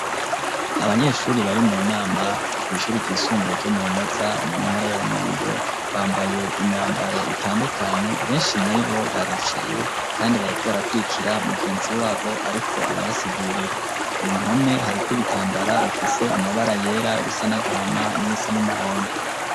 Abanyeshuri bari mu nama kw'ishuri ry'isumbuye ryo mu Rumeza mu ntara ya Rumonge bambaye imyambaro itandukanye beshi muribo baricaye kandi bariko barakurikira mugenzi wabo ariko arabasigurira, ku mpome hariko ibitambara bafise amabara yera ibisa n'agahama nibisa n'umuhondo.